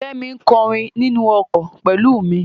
Kẹ́mi ń kọrin nínú ọkọ̀ pẹ̀lú mi.